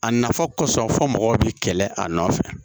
A nafa kɔsɔn fɔ mɔgɔw bɛ kɛlɛ a nɔfɛ